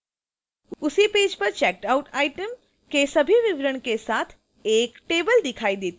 उसी पेज पर checkedout item के सभी विवरणों के साथ एक table दिखाई देती है